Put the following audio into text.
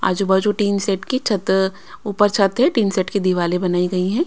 आजू बाजू tin shed की छत ऊपर छत है टीन सेट की दिवाले बनाई गई हैं।